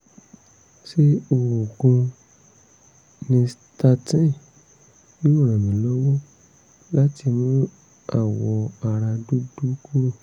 ṣé oògùn nystatin yóò ràn mí lọ́wọ́ láti mú àwọ̀ ara dúdú kúrò?